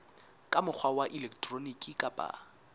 ka mokgwa wa elektroniki kapa